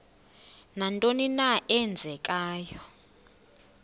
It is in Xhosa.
nantoni na eenzekayo